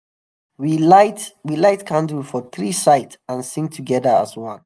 we light we light candle for three side and sing together as one.